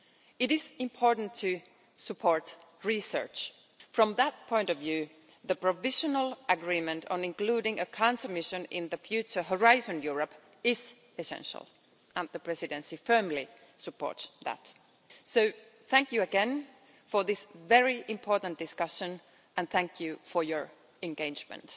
It is important to support research. From that point of view, the provisional agreement on including a cancer mission in the future Horizon Europe is essential and the Presidency firmly supports that. So thank you again for this very important discussion and thank you for your engagement.